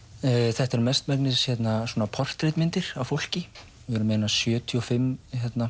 þetta eru mest megnis svona portrettmyndir af fólki við erum með einar sjötíu og fimm